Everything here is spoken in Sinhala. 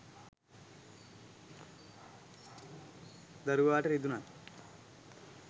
දරුවාට රිදුනත්,